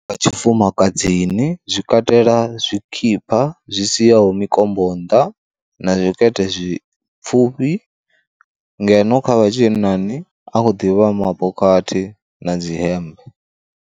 Vha Tshifumakadzini zwi katela zwikipa zwi siaho mikombo nnḓa na zwikete zwi pfhufhi, ngeno kha vha tshinnani a khou ḓivha mabokhathi na dzi hembe.